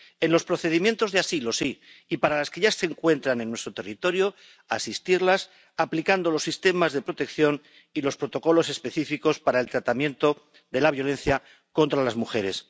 En los procedimientos de asilo, sí, y para las que ya se encuentran en nuestro territorio, asistirlas aplicando los sistemas de protección y los protocolos específicos para el tratamiento de la violencia contra las mujeres.